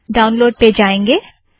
download में जाएंगे